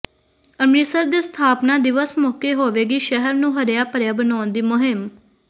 ਅੰਮ੍ਰਿਤਸਰ ਦੇ ਸਥਾਪਨਾ ਦਿਵਸ ਮੌਕੇ ਹੋਵੇਗੀ ਸ਼ਹਿਰ ਨੂੰ ਹਰਿਆ ਭਰਿਆ ਬਣਾਉਣ ਦੀ ਮੁਹਿੰਮ